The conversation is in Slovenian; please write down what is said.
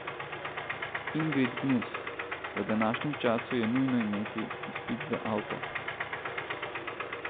Ingrid Gnus: "V današnjem času je nujno imeti izpit za avto.